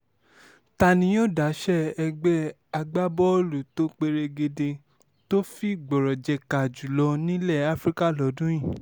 ta ni yóò dáṣẹ́ ẹgbẹ́ agbábọ́ọ̀lù tó perégedé tó fi gbọ́rọ̀ jẹ̀ka jù lọ nílẹ̀ afrika lọ́dún yìí